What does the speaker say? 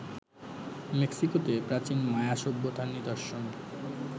মেক্সিকোতে প্রাচীন মায়া সভ্যতার নিদর্শন